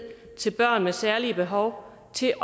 til børn med særlige behov til